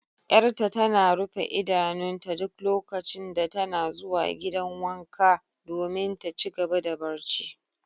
Yar'ta tana rufe idanunta duk lokacin da tana zuwa gidan wanka domin ta ci gaba da barci.